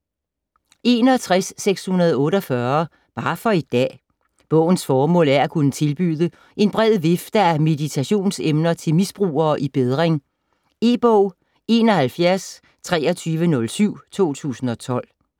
61.648 Bare for i dag Bogens formål er at kunne tilbyde en bred vifte af meditationsemner til misbrugere i bedring. E-bog 712307 2012.